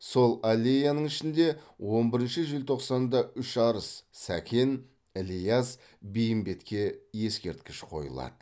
сол аллеяның ішінде он бірінші желтоқсанда үш арыс сәкен ілияс бейімбетке ескерткіш қойылады